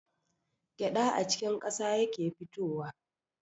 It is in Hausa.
Gyaɗa a cikin ƙasa yake fitowa.